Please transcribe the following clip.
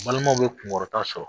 Balimaw bɛ kunkɔrɔta sɔrɔ.